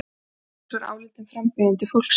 Vigdís var álitin frambjóðandi fólksins.